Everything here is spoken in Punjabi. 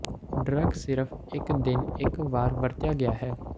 ਡਰੱਗ ਸਿਰਫ ਇੱਕ ਦਿਨ ਇੱਕ ਵਾਰ ਵਰਤਿਆ ਗਿਆ ਹੈ